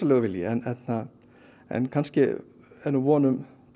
en kannski er nú von um breytta tíma